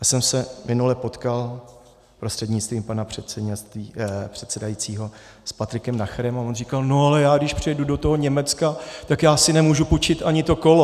Já jsem se minule potkal prostřednictvím pana předsedajícího s Patrikem Nacherem a on říkal, no ale já když přijedu do toho Německa, tak já si nemůžu půjčit ani to kolo.